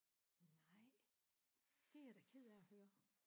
Nej det er jeg da ked af at høre